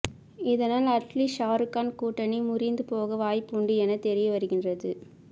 இதனால் அட்லீ ஷாருக்கான் கூட்டணி முறிந்து போக வாய்ப்புண்டு என தெரியவருகின்றது